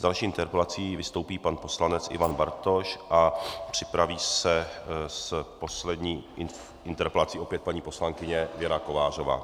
S další interpelací vystoupí pan poslanec Ivan Bartoš a připraví se s poslední interpelací opět paní poslankyně Věra Kovářová.